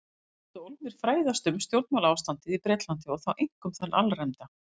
Þeir vildu ólmir fræðast um stjórnmálaástandið í Bretlandi- og þá einkum þann alræmda